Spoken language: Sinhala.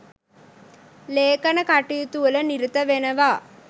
ලේඛන කටයුතුවල නිරත වෙනවා